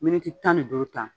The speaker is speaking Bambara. Miniti tan ni duuru ta